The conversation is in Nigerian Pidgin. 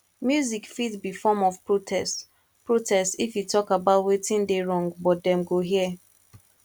music fit be form of protest protest if e talk about wetin dey wrong but dem go hear